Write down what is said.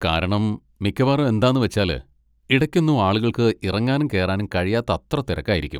കാരണം മിക്കവാറും എന്താന്ന് വച്ചാല്, ഇടയ്ക്കൊന്നും ആളുകൾക്ക്‌ ഇറങ്ങാനും കേറാനും കഴിയാത്തത്ര തിരക്കായിരിക്കും.